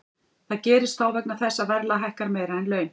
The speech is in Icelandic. Það gerist þá vegna þess að verðlag hækkar meira en laun.